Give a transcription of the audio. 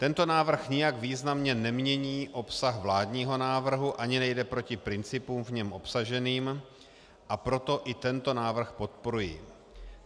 Tento návrh nijak významně nemění obsah vládního návrhu ani nejde proti principům v něm obsaženým, a proto i tento návrh podporuji.